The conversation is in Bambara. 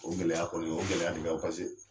O gɛlɛya kɔni o gɛlɛya de be yan o paseke